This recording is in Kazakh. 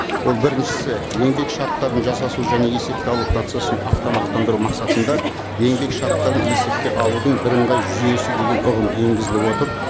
ол біріншісі еңбек шарттарын жасасу және есепке алу процессін автоматтандыру мақсатында еңбек шарттарын есепке алудың бірыңғай жүйесі деген ұғым енгізіліп отыр